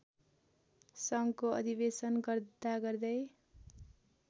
सङ्घको अधिवेशन गर्दागर्दै